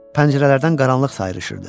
Pəncərələrdən qaranlıq sayrışırdı.